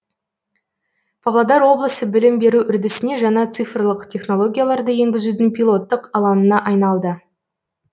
павлодар облысы білім беру үрдісіне жаңа цифрлық технологияларды енгізудің пилоттық алаңына айналды